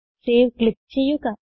save click ചെയ്യുക